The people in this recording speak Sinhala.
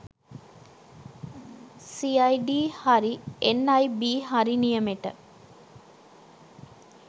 සිඅයිඩි හරි එන්.අයි.බි හරි නියමට